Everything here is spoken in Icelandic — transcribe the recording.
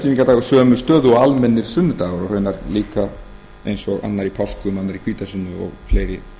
hefur uppstigningardagur sömu stöðu og almennir sunnudagar og raunar líka eins og annar í páskum annar í hvítasunnu og fleiri slíkir